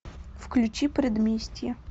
включи предместье